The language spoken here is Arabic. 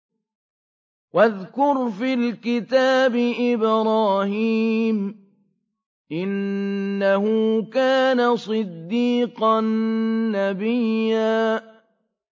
وَاذْكُرْ فِي الْكِتَابِ إِبْرَاهِيمَ ۚ إِنَّهُ كَانَ صِدِّيقًا نَّبِيًّا